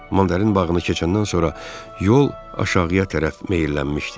Mandarin bağını keçəndən sonra yol aşağıya tərəf meyllənmişdi.